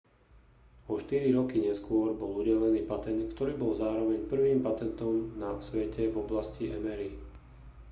o štyri roky neskôr bol udelený patent ktorý bol zároveň prvým patentom na svete v oblasti mri